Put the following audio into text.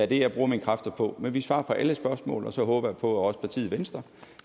det jeg bruger mine kræfter på men vi svarer på alle spørgsmål og så håber jeg på at også partiet venstre